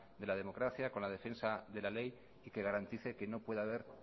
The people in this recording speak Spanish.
de la democracia con la defensa de la ley y que garantice que no pueda haber